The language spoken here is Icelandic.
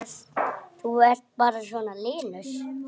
Þú ert bara svona linur!